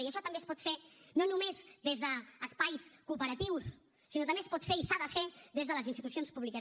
i això també es pot fer no només des d’espais cooperatius sinó que també es pot fer i s’ha de fer des de les institucions públiques